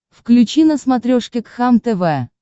включи на смотрешке кхлм тв